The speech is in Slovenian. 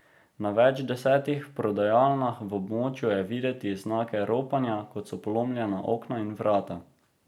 Na več desetih prodajalnah v območju je videti znake ropanja, kot so polomljena okna in vrata.